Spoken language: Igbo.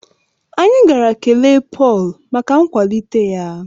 Anyị gara kelee Pọl maka nkwalite ya